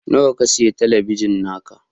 Nawa ka sayi talabijin naka?